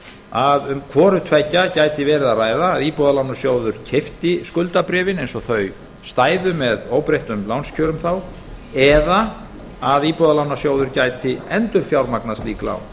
að um hvoru tveggja gæti verið að ræða að íbúðalánasjóður keypti skuldabréfin eins og þau stæðu með óbreyttum lánskjörum eða að íbúðalánasjóður gæti endurfjármagnað slík lán